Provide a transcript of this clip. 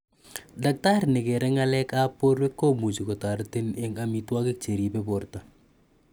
Daktari nekero ng'alek ap porwek, komuchi kotaretin eng' �amitwakiik che ripei port